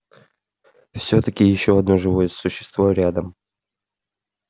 всё-таки ещё одно живое существо рядом